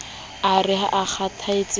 a re ha a kgathatse